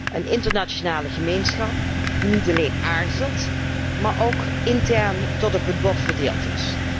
Een internationale gemeenschap, die niet alleen aarzelt maar ook intern tot op het bot verdeeld is.